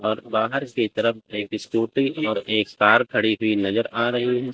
और बाहर की तरफ एक स्कूटी और एक कार खड़ी हुई नज़र आ रही है।